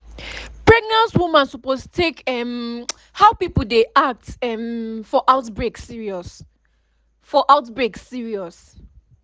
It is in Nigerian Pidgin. pregnant woman suppose take um how people dey act um for outbreak serious. for outbreak serious.